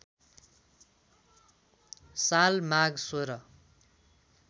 साल माघ १६